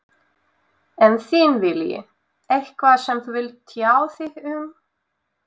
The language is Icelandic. En þinn vilji, eitthvað sem þú vilt tjá þig um?